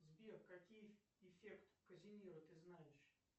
сбер какие эффект казимира ты знаешь